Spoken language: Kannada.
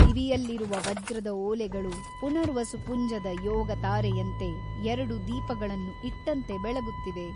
ಕಿವಿಯಲ್ಲಿರುವ ವಜ್ರದ ಓಲೆಗಳು ಪುನರ್ವಸು ಪುಂಜದ ಯೋಗತಾರೆಯಂತೆ ಎರಡು ದೀಪಗಳನ್ನು ಇಟ್ಟಂತೆ ಬೆಳಗುತ್ತಿವೆ.